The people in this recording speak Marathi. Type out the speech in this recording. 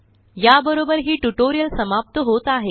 या बरोबर हि ट्युटोरिअल समाप्त होत आहे